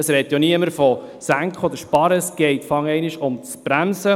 Es spricht niemand von senken oder sparen, es geht vorerst ums Bremsen.